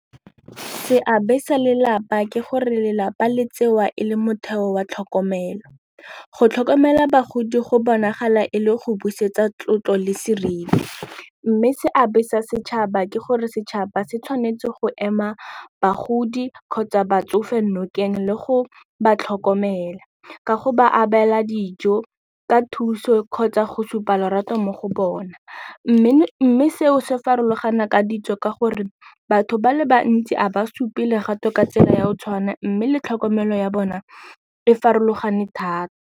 Seabe sa lelapa ke gore lelapa le tsewa e le motheo wa tlhokomelo, go tlhokomela bagodi go bonagala e le go busetsa tlotlo le seriti mme seabe sa setšhaba ke gore setšhaba se tshwanetse go ema bagodi kgotsa batsofe nokeng le go ba tlhokomela ka go ba abela dijo ka thuso kgotsa go supa lorato mo go bona mme seo se farologana ka ditso ka gore batho ba le bantsi a ba supe lerato ka tsela ya go tshwana mme le tlhokomelo ya bona e farologane thata.